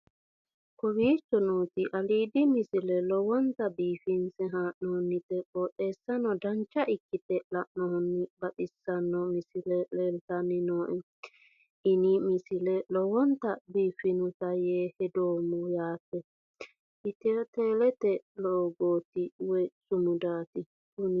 kowicho nooti aliidi misile lowonta biifinse haa'noonniti qooxeessano dancha ikkite la'annohano baxissanno misile leeltanni nooe ini misile lowonta biifffinnote yee hedeemmo yaate ethio telete loogooti woy sumudaati kuni